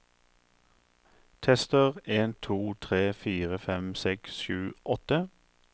Tester en to tre fire fem seks sju åtte